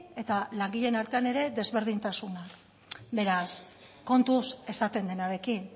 eta langileen artean ere desberdintasunak beraz kontuz esaten denarekin